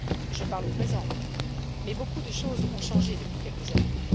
Je parle au présent, mais beaucoup de choses ont changé depuis quelques années.